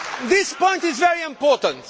This point is very important.